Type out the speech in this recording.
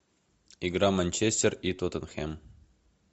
игра манчестер и тоттенхэм